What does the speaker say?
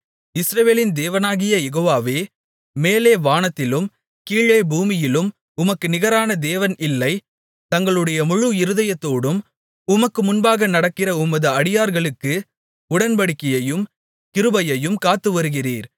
இஸ்ரவேலின் தேவனாகிய யெகோவாவே மேலே வானத்திலும் கீழே பூமியிலும் உமக்கு நிகரான தேவன் இல்லை தங்களுடைய முழு இருதயத்தோடும் உமக்கு முன்பாக நடக்கிற உமது அடியார்களுக்கு உடன்படிக்கையையும் கிருபையையும் காத்து வருகிறீர்